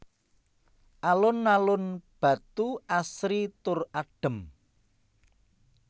Alun alun Batu asri tur adem